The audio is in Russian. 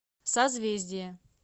созвездие